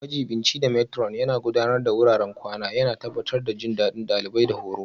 Majiɓinci da Matron Yana Gudanar da wuraren kwana, yana tabbatar da jin daɗin ɗalibai da horo.